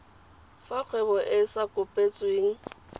fa kgwebo e e kopetsweng